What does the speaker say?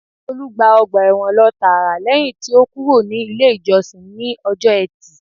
Olú gba ọgbà ẹ̀wọ̀n lọ tààrà lẹ́yìn tí ó kúrò ní ilé ìjọsìn ní ọjọ́ etí